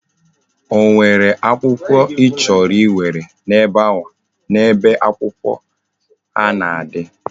O nwere akwukwo ichoro iwere na ebe akwụkwọ ha na adi?